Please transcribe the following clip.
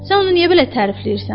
Sən onu niyə belə tərifləyirsən?